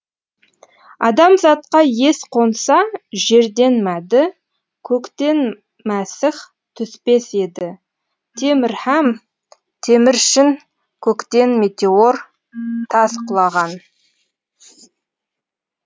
адамзатқа ес қонса жерден мәді көктен мәсіх түспес еді темір һәм теміршін көктен метеор тас құлаған